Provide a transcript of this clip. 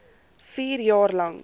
vier jaar lank